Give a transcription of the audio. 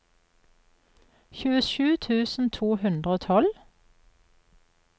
tjuesju tusen to hundre og tolv